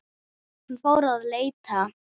Hann fór að leita.